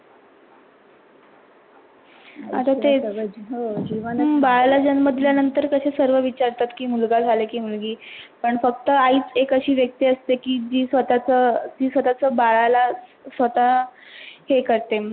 बाळाला जन्म दिल्यानंतर कसे सर्व विचारात की मुलगा झाला की मुलगी, पण फक्‍त आईच एक आशी व्‍यक्‍ती असते की जी स्वतःच्‍या स्वतःच्‍या बाळाला स्वतः हे करते.